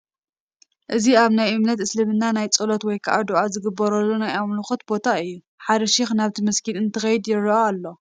እዚ ኣብ ናይ እምነት እስልምና ናይ ፀሎት ወይ ከዓ ዱዓ ዝገብሩሉ ናይ ኣምልኾኦም ቦታ እዩ፡፡ ሓደ ሼኽ ናብቲ መስጊድ እንትኸይድ ይረአ ኣሎ፡፡